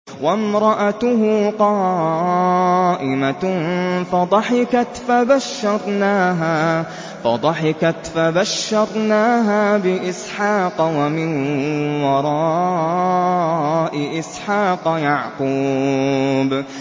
وَامْرَأَتُهُ قَائِمَةٌ فَضَحِكَتْ فَبَشَّرْنَاهَا بِإِسْحَاقَ وَمِن وَرَاءِ إِسْحَاقَ يَعْقُوبَ